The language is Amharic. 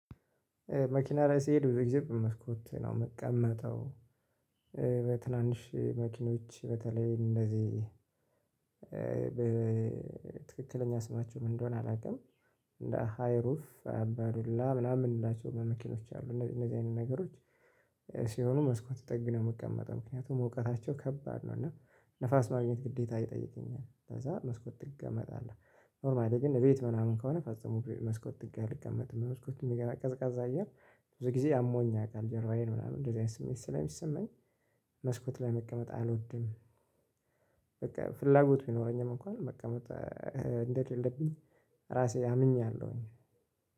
መኪና ላይ ስሄድ ብዙ ጊዜ በመስኮት ነው የምቀመጠው በትናንሽ መኪኖች በተለይ እንደዚህ ትክክለኛ ስማቸው ምን እንደሆነ አላውቅም እንደ ሃይሩፍ፣ አባዱላ፣ ምናምን የምንላቸው መኪኖች አሉ እነዚህ እነዚህ አይነት ነገሮች ሲሆኑ መስኮት ጥግ ነው የምቀመጠው። ምክንያቱም ሙቀታቸው ከባድ ነው እና ንፋስ ማግኘት ግዴታ ይጠይቀኛል፤ ከዛ መስኮት ጥግ እቀመጣለሁ። ኖርማሊ ግን እቤት ምናምን ከሆነ ፈጽሞ መስኮት ጥግ አልቀመጥም። በመስኮት የሚገባ ቀዝቃዛ አየር ብዙ ጊዜ አሞኝ ያውቃል ጀርባዬን ምናምን እንደዚህ አይነት ስሜት ስለሚሰማኝ መስኮት ላይ መቀመጥ አልወድም። በቃ ፍላጎቱ ቢኖረኝም እንኳን መቀመጥ እንደሌለብኝ ራሴ አምኛለሁ እኔ።